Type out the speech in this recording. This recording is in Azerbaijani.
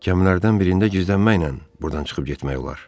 Kəmənlərdən birində gizlənməklə burdan çıxıb getmək olar.